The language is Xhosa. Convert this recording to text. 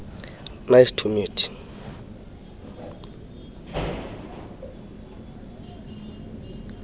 nice to meet